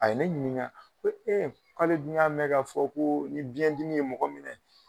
A ye ne ɲiniŋa ko k'ale dun y'a mɛ ka fɔ koo ni biyɛn dimi ye mɔgɔ minɛ